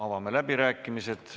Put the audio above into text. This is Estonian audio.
Avame läbirääkimised.